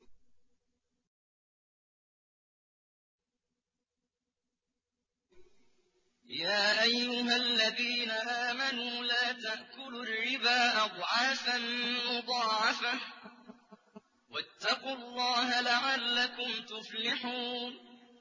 يَا أَيُّهَا الَّذِينَ آمَنُوا لَا تَأْكُلُوا الرِّبَا أَضْعَافًا مُّضَاعَفَةً ۖ وَاتَّقُوا اللَّهَ لَعَلَّكُمْ تُفْلِحُونَ